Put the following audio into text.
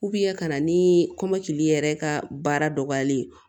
ka na ni kɔmɔkili yɛrɛ ka baara dɔgɔyali ye